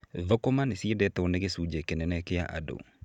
Thũkũma nĩ ciendetwo nĩ gĩcunjĩ kĩnene kĩa andũ.